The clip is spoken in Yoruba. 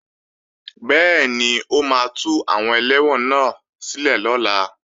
Bẹ́ẹ̀ni, o máa tú àwọn ẹlẹ́wọ̀n náà sílẹ̀ lọ́la